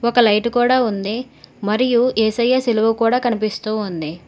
ఒక లైట్ కూడా ఉంది మరియు యేసయ్య సిలువ కూడా కనిపిస్తూ ఉంది.